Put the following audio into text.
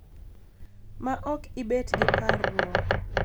Ma ok ibet gi parruok